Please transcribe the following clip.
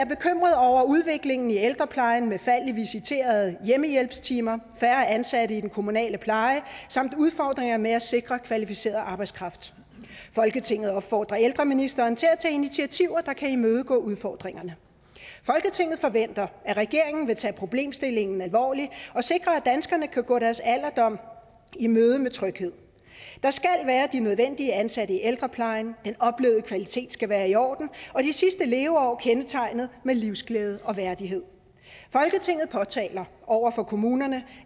over udviklingen i ældreplejen med fald i visiterede hjemmehjælpstimer færre ansatte i den kommunale pleje samt udfordringer med at sikre kvalificeret arbejdskraft folketinget opfordrer ældreministeren til at tage initiativer der kan imødegå udfordringerne folketinget forventer at regeringen vil tage problemstillingen alvorligt og sikre at danskerne kan gå deres alderdom i møde med tryghed der skal være de nødvendige ansatte i ældreplejen den oplevede kvalitet skal være i orden og de sidste leveår kendetegnet ved livsglæde og værdighed folketinget påtaler over for kommunerne